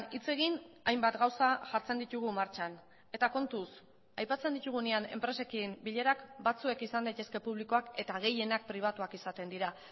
hitz egin hainbat gauza jartzen ditugu martxan eta kontuz aipatzen ditugunean enpresekin bilerak batzuek izan daitezke publikoak eta gehienak pribatuak izaten dira